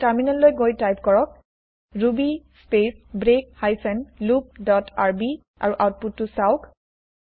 এতিয়া টাৰ্মিনেল লৈ গৈ টাইপ কৰক ruby space break hyphen loop dot R B আৰু আউতপুতটো চাওঁক